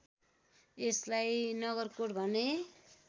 यसलाई नगरकोट भन्ने